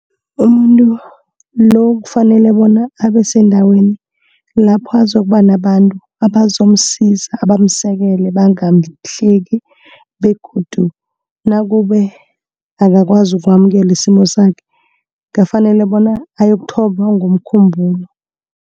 Umuntu lo kufanele bona abasendaweni lapho azokuba nabantu abazomusiza, bamusekele, bangamuhleki begodu nakube akakwazi ukwamukela isimo sakhe kufanele bona ayokuthotjhwa ngomkhumbulo.